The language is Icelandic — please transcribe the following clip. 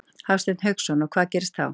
Hafsteinn Hauksson: Og hvað gerist þá?